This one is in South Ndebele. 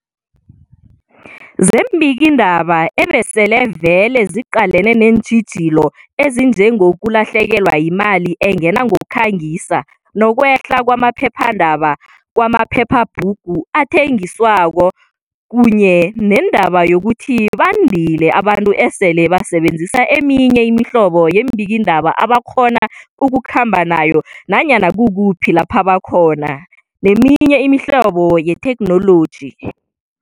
zeembikiindaba ebesele vele ziqalene neentjhijilo ezinjengezokulahlekelwa yimali engena ngokukhangisa, nokwehla kwama phephandaba, kwama phephabhugu athengiswako kunye nendaba yokuthi bandile abantu esele basebenzisa eminye imihlobo yeembikiindaba abakghona ukukhamba nayo nanyana kukuphi lapha bakhona, neminye imihlobo yethekhnoloji.